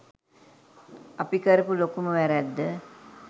අපි කරපු ලොකුම වැරැද්ද